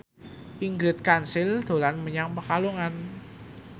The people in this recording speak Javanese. Ingrid Kansil dolan menyang Pekalongan